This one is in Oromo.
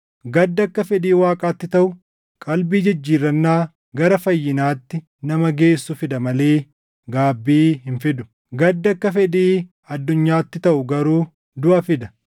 Gaddi akka fedhii Waaqaatti taʼu qalbii jijjiirrannaa gara fayyinaatti nama geessu fida malee gaabbii hin fidu; gaddi akka fedhii addunyaatti taʼu garuu duʼa fida.